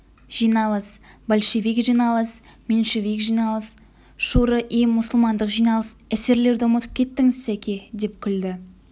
жиналыс большевик жиналыс меньшевик жиналыс шуро-и-мұсылмандық жиналыс эсерлерді ұмытып кеттіңіз сәке деп күлді